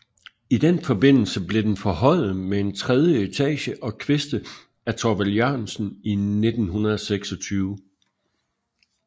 I den forbindelse blev den forhøjet med en tredje etage og kviste af Thorvald Jørgensen i 1926